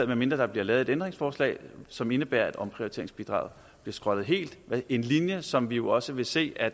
medmindre der bliver lavet et ændringsforslag som indebærer at omprioriteringsbidraget bliver skrottet helt en linje som vi jo også vil se at